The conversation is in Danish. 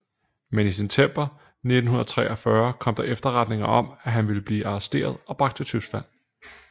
Men i september 1943 kom der efterretninger om at han ville blive arresteret og bragt til Tyskland